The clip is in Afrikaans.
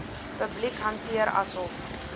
publiek hanteer asof